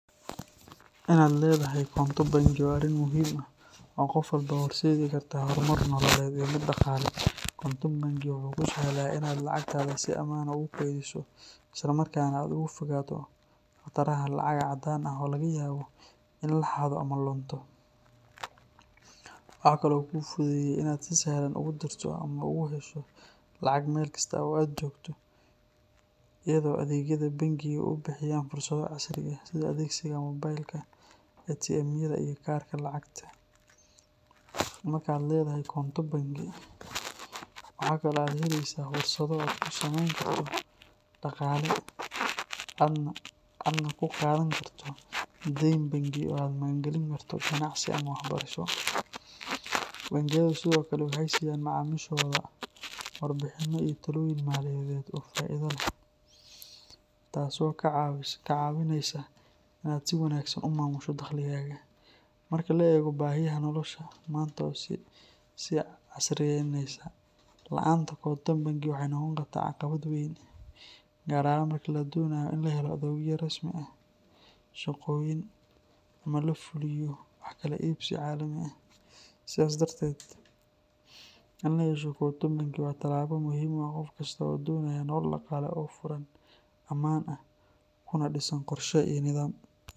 Inaad leedahay konto bangi waa arrin muhiim ah oo qof walba u horseedi karta horumar nololeed iyo mid dhaqaale. Konto bangi wuxuu kuu sahlaa inaad lacagtaada si ammaan ah ugu kaydiso, isla markaana aad uga fogaato khataraha lacag caddaan ah oo laga yaabo in la xado ama lunto. Waxa kale oo uu kuu fududeeyaa in aad si sahlan ugu dirto ama uga hesho lacag meel kasta oo aad joogto, iyadoo adeegyada bangigu ay bixiyaan fursado casri ah sida adeegsiga moobilka, ATM-yada, iyo kaararka lacagta. Marka aad leedahay konto bangi, waxa kale oo aad helaysaa fursado aad ku samayn karto kayd dhaqaale, aadna ku qaadan karto deyn bangi oo aad ku maalgelin karto ganacsi ama waxbarasho. Bangiyadu sidoo kale waxay siiyaan macaamiishooda warbixinno iyo talooyin maaliyadeed oo faa’iido u leh, taas oo kaa caawinaysa inaad si wanaagsan u maamusho dakhligaaga. Marka la eego baahiyaha nolosha maanta oo sii casriyaynaanaya, la’aanta konto bangi waxay noqon kartaa caqabad weyn, gaar ahaan marka la doonayo in la helo adeegyo rasmi ah, shaqooyin, ama la fuliyo wax kala iibsiyo caalami ah. Sidaas darteed, in la yeesho konto bangi waa tallaabo muhiim u ah qof kasta oo doonaya nolol dhaqaale oo furan, ammaan ah, kuna dhisan qorshe iyo nidaam.